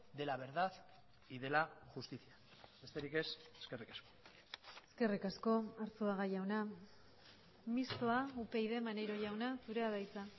de la verdad y de la justicia besterik ez eskerrik asko eskerrik asko arzuaga jauna mistoa upyd maneiro jauna zurea da hitza